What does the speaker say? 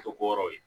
O ko yɔrɔ ye